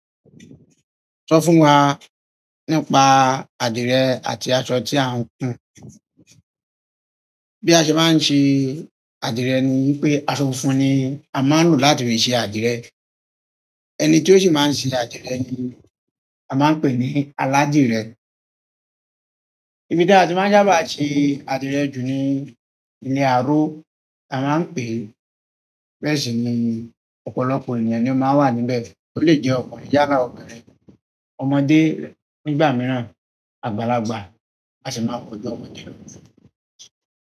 Sọ fún wa nípa adire àti aṣọ tí a ń hùn. Bí a ṣe maá ń ṣe adire ni wípé aṣọ funfun ni a máa ń lò láti fi ṣe adire. Ẹni tí ó sì máa ń ṣe adire ni a máa ń pè ní aládìrẹ. Ibi tí a máa ń sábà ṣe adire jù ni ní àárọ̀. A máa ń pè bẹ́ẹ̀ sì ni ọ̀pọ̀lọpọ̀ ènìyàn ni ó máa ń wà níbẹ̀. Ó lè jẹ́ ọkùnrin yálà ọbinrin, ọmọdé nígbà mìràn àgbàlagbà a sì máa pọ̀ ju ọkùnrin lọ.